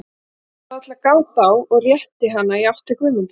Hafðu alla gát á, og rétti hana í átt til Guðmundar.